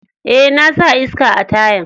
Eh, na sa iska a tayan.